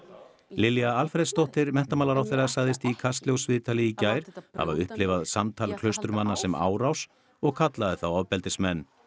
Lilja Alfreðsdóttir menntamálaráðherra sagðist í Kastljósviðtali í gær hafa upplifað samtal Klausturmanna sem árás og kallaði þá ofbeldismenn